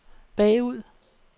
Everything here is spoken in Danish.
bagud